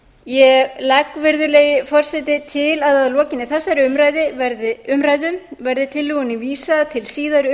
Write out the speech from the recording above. ég legg virðulegi forseti til að að lokinni þessari umræðu verði tillögunni vísað til síðari